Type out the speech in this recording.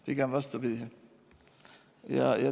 Pigem vastupidi.